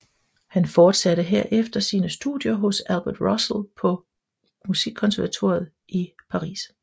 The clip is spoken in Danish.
Han forsatte herefter sine studier hos Albert Roussel på Musikkonservatoriet i Paris